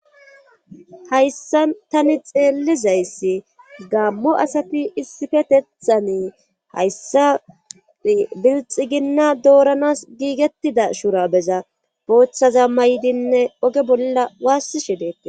hayssa tani xeellizayssi gammo asati issifetethani hayssa bilxi ginna dooranas giigettida shura beza boochchaza maydinne oge bolla waassishe deetti